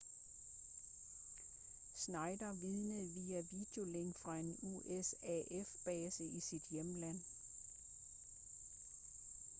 schneider vidnede via videolink fra en usaf-base i sit hjemland